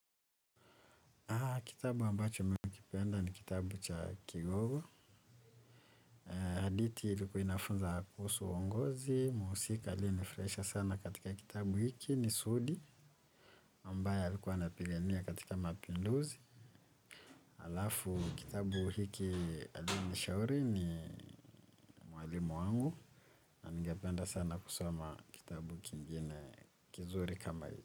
Kitabu ambacho mimi hukipenda ni kitabu cha kigogo. Hadithi ilikua inafunza kuhusu uongozi. Mhusika aliyenifurahisha sana katika kitabu hiki ni sudi. Ambaye alikuwa anapigania katika mapinduzi. Alafu kitabu hiki alinishauri ni mwalimu wangu. Na ningependa sana kusoma kitabu kingine kizuri kama hii.